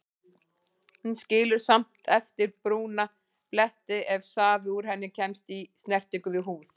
Hún skilur samt eftir brúna bletti ef safi úr henni kemst í snertingu við húð.